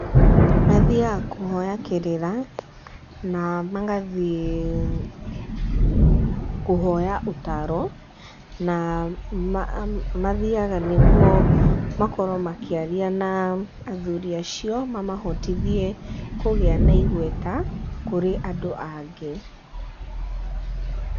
Mathiaga kũhoya kĩrĩra na magathiĩ kũhoya ũtaro, na mathiaga nĩguo makorwo makĩaria na athuri acio mamahotithie kũgĩa na igweta kũrĩ andũ angĩ.